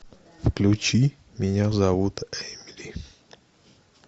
включи меня зовут эмили